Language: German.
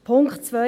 Punkt 2